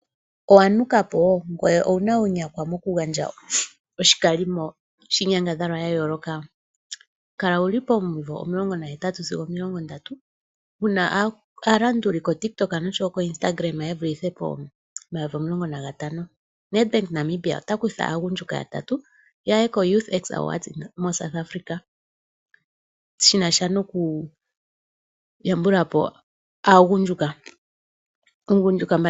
Owa nuka po? Ngoye owu na uunyakwa mokugandja oshikalimo shiinyangadhalwa ya yooloka? Kala wu li pomimvo 18 sigo 30, wu na aalanduli komapandja goTik Tok nosho wo Instagram, ye vulithe pomayovi omulongo nagatano. Nedbank Namibia ota kutha aagundjuka yatatu ya ye kegandjo lyomapapa lyaagundjuka (YouthX Award)moSouth Afrika shi na sha nokuyambula po aagundjuka.